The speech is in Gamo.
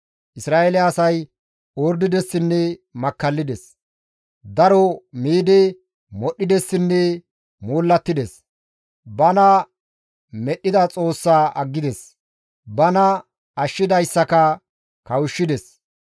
«Isra7eele asay ordidessinne makkallides. Daro miidi modhdhidessinne moollattides; bana medhdhida Xoossaa aggides; bana ashshidayssaka kawushshides.